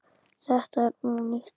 Þetta er ónýtt.